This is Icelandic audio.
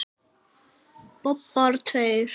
Bobbar tveir.